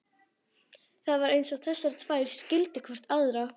Það var eins og þessar tvær skildu hvor aðra.